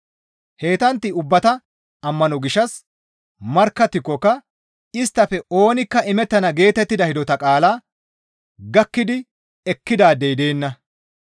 Heytantta ubbata ammano gishshas markkattikokka isttafe oonikka imettana geetettida hidota qaalaa gakki ekkidaadey deenna.